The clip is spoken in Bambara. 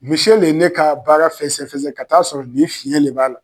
Mise le ye ne ka baara fɛsɛfɛsɛ ka t'a sɔrɔ nin fiɲɛn de b'a la